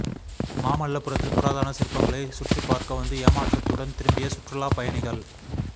மாமல்லபுரத்தில் புராதன சிற்பங்களை சுற்றிப் பாா்க்க வந்து ஏமாற்றத்துடன் திரும்பிய சுற்றுலாப் பயணிகள்